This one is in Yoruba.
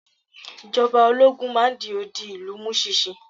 Ìjọba ológun máa n di odi ìlú mu sinsin